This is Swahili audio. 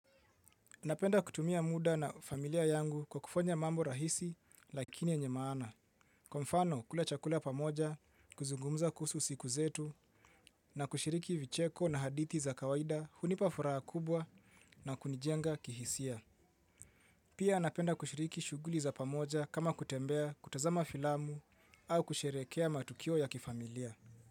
Napenda kutumia muda na familia yangu kwa kufanya mambo rahisi lakini yenye maana. Kwa mfano kula chakula pamoja, kuzungumza kuhusu siku zetu na kushiriki vicheko na hadithi za kawaida hunipafuraha kubwa na kunijenga kihisia. Pia napenda kushiriki shughuli za pamoja kama kutembea, kutazama filamu au kusherehekea matukio ya kifamilia.